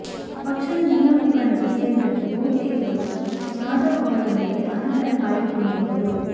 ಪಕ್ಷದ ಜಿಲ್ಲಾ ಮುಖಂಡರು ಸೇರಿದಂತೆ ಬಹುತೇಕರು ಜಾಧವ ಅವರೊಂದಿಗೆ ಅಂತರ ಕಾಯ್ದುಕೊಂಡಿದ್ದರು